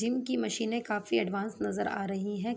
Gym की मशीने काफी एडवांस नजर आ रही हैं।